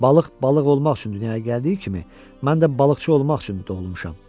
Balıq balıq olmaq üçün dünyaya gəldiyi kimi, mən də balıqçı olmaq üçün doğulmuşam.